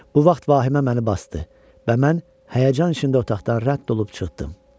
Bu vaxt vahimə məni basdı və mən həyəcan içində otaqdan rədd olub çıxdım.